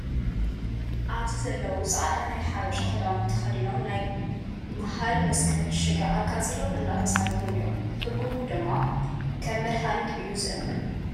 ኣብዚ ዘለው ፃዕዳ ናይ ሓበሻ ክዳውቲ ተከዲኖም ናይ በሃል መስቀል ሽግ ኣቃፂሎም እንዳተሰጋሩ እዮም። ትርጉሙ ድማ ከም መድሓኒት እዩ ዝእመን።